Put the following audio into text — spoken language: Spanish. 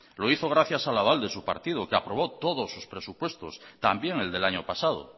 lo hizo gracias al aval de su partido que aprobó todos sus presupuestos también el del año pasado